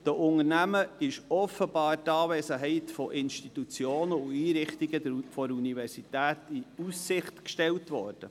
Den Unternehmungen ist offenbar die Anwesenheit von Institutionen und Einrichtungen der Universität in Aussicht gestellt worden.